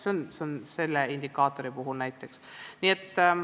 See on selle indikaatori puhul näiteks nii.